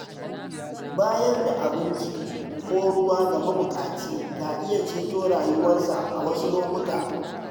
Bayar da abinci ko ruwa ga mabuƙaci ka iya ceto rayuwarsa a wasu lokuta.